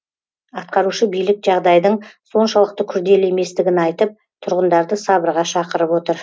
атқарушы билік жағдайдың соншалықты күрделі еместігін айтып тұрғындарды сабырға шақырып отыр